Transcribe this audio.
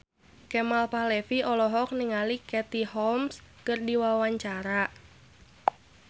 Kemal Palevi olohok ningali Katie Holmes keur diwawancara